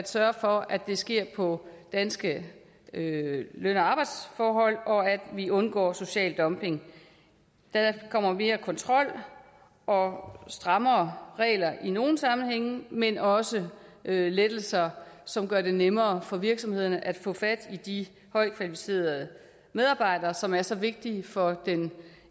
sørge for at det sker på danske løn og arbejdsforhold og at vi undgår social dumping der kommer mere kontrol og strammere regler i nogle sammenhænge men også lettelser som gør det nemmere for virksomhederne at få fat i de højt kvalificerede medarbejdere som er så vigtige for den